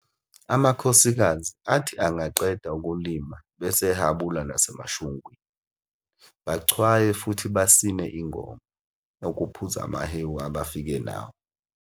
Amakhosikazi athi angaqeda ukulima bese ehabula nasemashungwini, bachwaye futhi basine ingoma, ukuphuza amahewu abafike nawo.